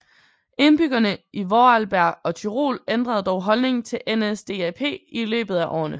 Indbyggerne i Vorarlberg og Tyrol ændrede dog holdning til NSDAP i løbet af årene